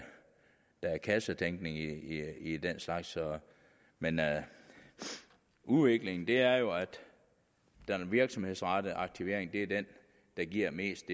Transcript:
kassetænkning i i den slags men udviklingen er jo at den virksomhedsrettede aktivering er den der giver mest